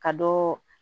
Ka dɔ